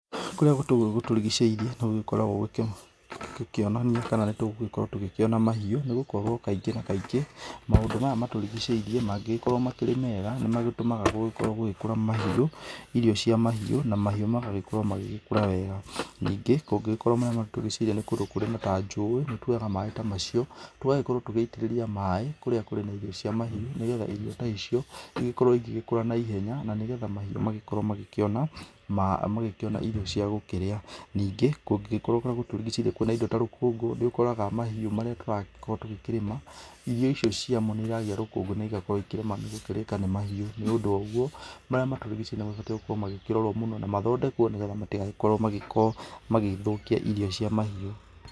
Kũrĩa gũkoragwo gũtũrigicĩirie nĩ gũgĩkoragwo gũkĩonania kana nĩ tũgũgĩkorwo tũkĩona mahiũ nĩ gũkorwo kaingĩ na kaingĩ maũndũ maya matũrigicĩirie mangĩgĩkorwo makĩrĩ mega nĩ magĩtũmaga gũgĩkorwo gũgĩkũra irio cia mahiũ na mahiũ magagĩkorwo magĩgĩkũra wega, ningĩ kũngĩgĩkorwo nĩ kũndũ kũrĩ na ta njũĩ nĩ tũoyaga maĩ ta macio tũgagĩkorwo tũgĩitĩrĩria maĩ kũrĩa kũrĩ na irio cia mahiũ nĩgetha irio ta icio igĩkorwo igĩkũra naihenya na nĩgetha mahiũ magĩkorwo magĩkĩona irio cia gũkĩraĩ, ningĩ kũngĩkorwo kũrĩa gũtũrigicĩirie kwĩna indo ta rũkũngũ nĩ ũkoraga mahiũ marĩa tũragĩkorwo tũkĩrĩma irio icio ciamo nĩ iragĩa rũkũngũ na ĩgakorwo ikĩrema nĩgũkũrĩka nĩ mahiũ nĩ ũndũ ũcio marĩa matũrigicĩirie nĩ mabatie gũkorwo makĩrorwo mũno na mathondekwo nĩgetha matĩgagĩkorwo magĩgĩthũkia irio cia mahiũ.